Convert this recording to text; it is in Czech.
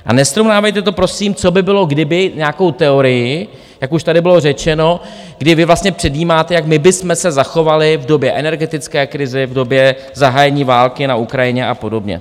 A nesrovnávejte to, prosím, co by bylo, kdyby, nějakou teorii, jak už tady bylo řečeno, kdy vy vlastně předjímáte, jak my bychom se zachovali v době energetické krize, v době zahájení války na Ukrajině a podobně.